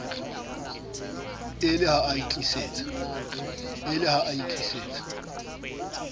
e le ha a itlisitse